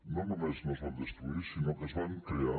no només no es van destruir sinó que es van crear